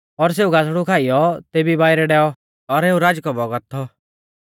और सेऊ गासड़ु खाइयौ तेभी बाइरै डैऔ और एऊ राचकौ बौगत थौ